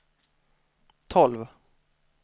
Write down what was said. tolv